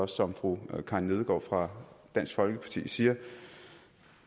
som fru karin nødgaard fra dansk folkeparti siger